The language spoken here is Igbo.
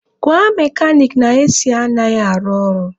Gwa mekanik na AC anaghị arụ ọrụ.